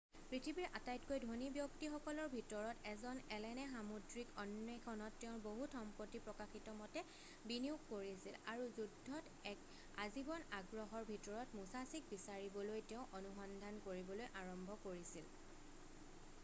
পৃথিৱীৰ আটাইতকৈ ধনী ব্যক্তিসকলৰ ভিতৰত এজন এলেনে সামুদ্ৰিক অন্বেষণত তেওঁৰ বহুত সম্পত্তি প্ৰকাশিতমতে বিনিয়োগ কৰিছিল আৰু যুদ্ধত এক আজীৱন আগ্ৰহৰ ভিতৰত মুছাছিক বিচাৰিবলৈ তেওঁ অনুসন্ধান কৰিবলৈ আৰম্ভ কৰিছিল৷